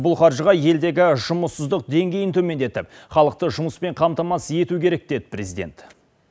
бұл қаржыға елдегі жұмыссыздық деңгейін төмендетіп халықты жұмыспен қамтамасыз ету керек деді президент